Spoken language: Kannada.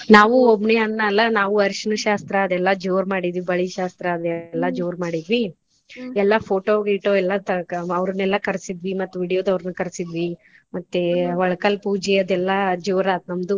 ನಾವು ಒಬ್ನೇ ಅಣ್ಣಾ ಅಲಾ ನಾವು ಅರಿಸಿನ ಶಾಸ್ತ್ರದೆಲ್ಲ ಜೋರ ಮಾಡಿದ್ವಿ ಬಳಿ ಶಾಸ್ತ್ರಾದು ಎಲ್ಲಾ ಜೋರ ಮಾಡಿದ್ವಿ ಎಲ್ಲಾ photo ಗಿಟೊ ಎಲ್ಲಾ ತಗೊ ಅವರ್ನೆಲ್ಲಾ ಕರೆಸಿದ್ವಿ ಮತ್ತ್ video ದವರ್ನ ಕರಸಿದ್ವಿ ಮತ್ತೆ ಒಳಕಲ ಪೂಜೆ ಅದೆಲ್ಲ ಜೋರ ಆತು ನಮ್ದು.